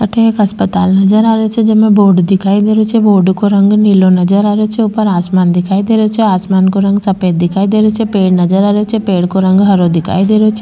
अठे एक अस्पताल नजर आ रहो छे जमा एक बोर्ड दिखाई दे रेहो छे बोर्ड को रंग नीलो नजर आ रेहो छे ऊपर आसमान दिखाई दे रो छे आसमान को रंग सफेद दिखाई दे रो छे पेड़ नज़र आ रेहो छे पेड़ को रंग हरो दिखाई दे रो छे।